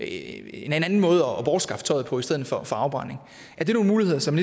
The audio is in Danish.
en anden måde at bortskaffe tøjet på i stedet for afbrænding er det nogle muligheder som